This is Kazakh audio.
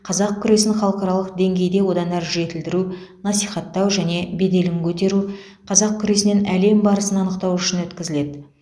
қазақ күресін халықаралық деңгейде одан әрі жетілдіру насихаттау және беделін көтеру қазақ күресінен әлем барысын анықтау үшін өткізіледі